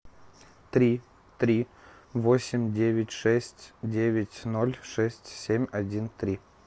три три восемь девять шесть девять ноль шесть семь один три